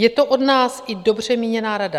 Je to od nás i dobře míněná rada.